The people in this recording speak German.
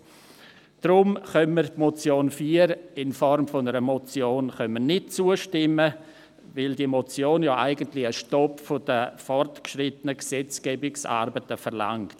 Deshalb können wir Punkt 4 in Form einer Motion nicht zustimmen, weil diese Motion ja eigentlich einen Stopp der fortgeschrittenen Gesetzgebungsarbeiten verlangt.